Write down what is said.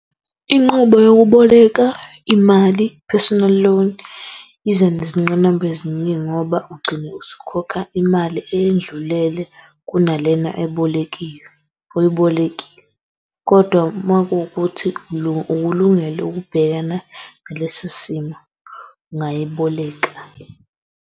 Inqubo yokuboleka imali, Personal Loan iza nezingqinamba eziningi ngoba ugcine usukhokha imali eyendlulele kunalena ebolekiwe, oyibolekile kodwa makukuthi ukulungele ukubhekana nalesi simo, ungayiboleka.